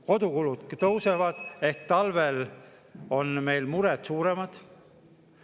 Kodukulud tõusevad ehk talvel on meil mured suuremad.